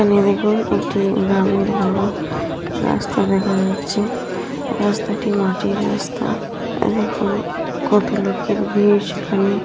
এখানে দেখুন এটি গ্রামের বড় রাস্তা দেখা যাচ্ছে। রাস্তাটি মাটির রাস্তা এই দেখুন কত লোকের বিয়ে সেখানে।